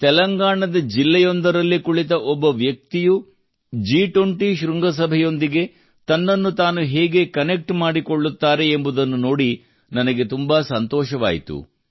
ತೆಲಂಗಾಣದ ಜಿಲ್ಲೆಯಲ್ಲಿ ಕುಳಿತ ಒಬ್ಬ ವ್ಯಕ್ತಿಯು ಜಿ20 ಶೃಂಗಸಭೆಯೊಂದಿಗೆ ತನ್ನನ್ನು ತಾನು ಹೇಗೆ ಕನೆಕ್ಟ್ ಮಾಡಿಕೊಳ್ಳುತ್ತಾರೆ ಎಂಬುದನ್ನು ನೋಡಿ ನನಗೆ ತುಂಬಾ ಸಂತೋಷವಾಯಿತು